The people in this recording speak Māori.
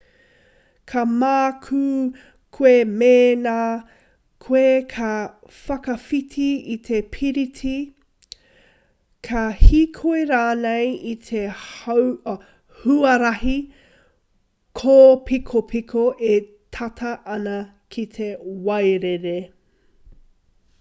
ka mākū koe mēna koe ka whakawhiti i te piriti ka hīkoi rānei i te huarahi kōpikopiko e tata ana ki te wairere